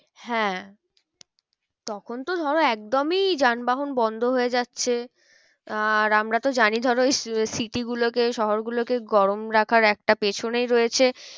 হ্যাঁ তখন তো ধরো একদমই যান বাহন বন্ধ হয়ে যাচ্ছে। আর আমরা তো জানি ধরো city গুলোকে শহর গুলোকে গরম রাখার একটা পেছনেই রয়েছে